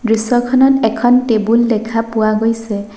দৃশ্যখনত এখন টেবুল দেখা পোৱা গৈছে।